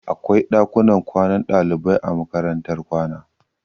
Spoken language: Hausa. Akwai ɗakunan kwanan ɗalibai a makarantar kwana